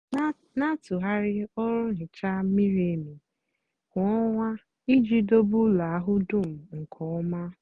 gbaa igwe nà-àsa efere n'abálị íjì chekwaa ógè nà mmírí n'èhíhè.